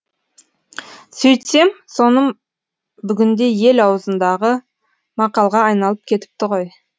сөйтсем соным бүгінде ел аузындағы мақалға айналып кетіпті ғой